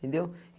Entendeu?